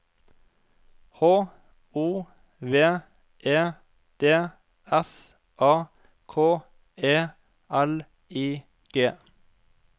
H O V E D S A K E L I G